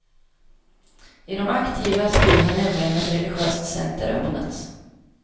I de aktivas by har nämligen ett religiöst center öppnats.